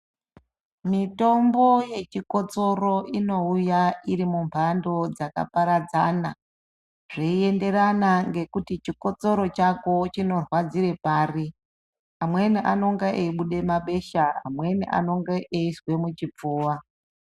Mitombo yechikotsoro iri mumhando dzakaparadzana zveienderana nekuti chikotsoro chako chinorwadziraa pari amweni anenge eibuda mabesha amweni anenge eizwa muchipfuva